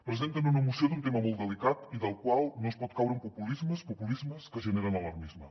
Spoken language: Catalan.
presenten una moció d’un tema molt delicat i del qual no es pot caure en populismes populismes que generen alarmisme